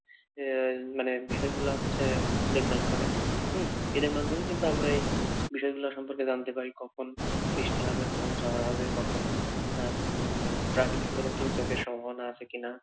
এই মানে বিষয়গুলো হচ্ছে দেখভাল করে হম এদের মাধ্যমেই কিন্তু আমরা এই বিষয়গুলো সম্পর্কে জানতে পারি কখন বৃষ্টি হবে কখন ঝড় হবে কখন আহ উম প্রাকৃতিক কোন দুর্যোগের সম্ভাবনা আছে কি না।